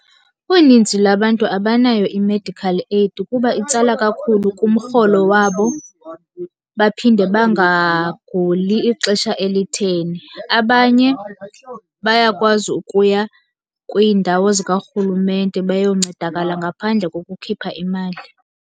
Uninzi labantu abanayo i-medical aid kuba itsala kakhulu kumrholo wabo, baphinde bangaguli ixesha elitheni. Abanye bayakwazi ukuya kwiindawo zikarhulumente bayoncedakala ngaphandle kokukhipha imali.